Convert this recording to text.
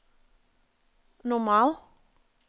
normal